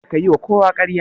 Kada ka yiwa kowa ƙarya.